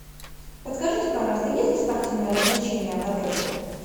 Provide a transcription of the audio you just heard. подскажите пожалуйста есть ли спортивные развлечения в отеле